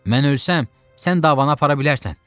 Mən ölsəm, sən davanı apara bilərsən.